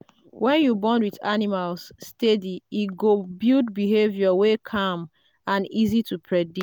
when you bond with animals steady e go build behaviour wey calm and easy to predict.